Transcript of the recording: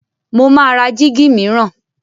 Mo máa ra jíígi mìíràn.